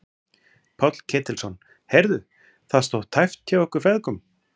Páll Ketilsson: Heyrðu, það stóð tæpt hjá ykkur feðgum?